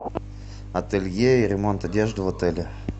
ателье и ремонт одежды в отеле